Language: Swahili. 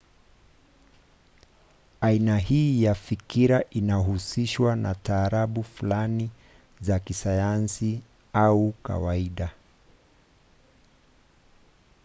aina hii ya fikira inahusishwa na taratibu fulani za kisayansi au kawaida